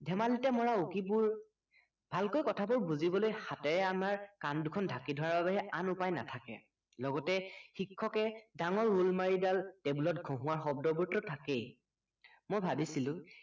ধেমালিতে মৰা উকি বোৰ ভালকৈ কথাবোৰ বুজিবলৈ হাতেৰে আমাৰ কাণ দুখন ঢাকি ধৰাৰ বাবেহে আন উপায় নাথাকে লগতে শিক্ষকে ডাঙৰ ৰোল মাৰিডাল table ত ঘহোঁৱাৰ শব্দবোৰটো থাকেই